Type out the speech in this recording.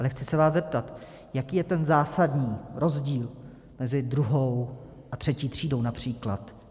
Ale chci se vás zeptat: Jaký je ten zásadní rozdíl mezi druhou a třetí třídou například?